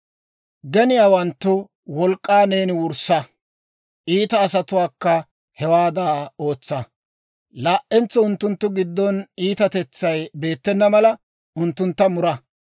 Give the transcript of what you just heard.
Geniyaawanttu wolk'k'aa neeni wurssa; Iita asatuwaakka hewaadda ootsa. Laa"entso unttunttu giddon iitatetsay beettena mala unttuntta mura.